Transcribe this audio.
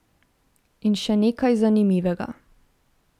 In še nekaj zanimivega.